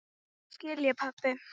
Núna skil ég, pabbi.